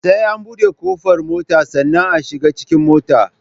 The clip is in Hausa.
Sai an buɗe ƙofar mota sannan a shiga cikin motar